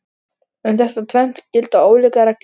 Um þetta tvennt gilda ólíkar reglur.